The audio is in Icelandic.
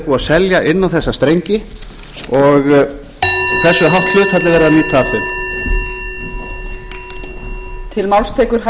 að selja inn á þessa strengi og og hversu hátt hlutfall er verið að nýta af þeim